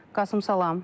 Qasım, salam.